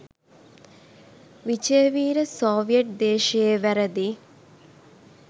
Wijeweera Soviet දේශයේ වැරදි